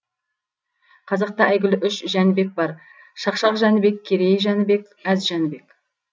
қазақта әйгілі үш жәнібек бар шақшақ жәнібек керей жәнібек әз жәнібек